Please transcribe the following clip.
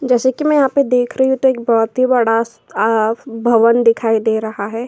जैसा कि मैं यहाँ पर देख रही हूं तो एक बोहोत ही बड़ा अ भवन दिखाई दे रहा है।